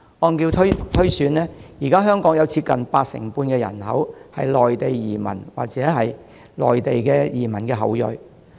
按照推算，現時香港有接近八成半人口為內地移民或內地移民的後裔。